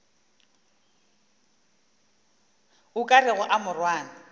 o ka rego a morwana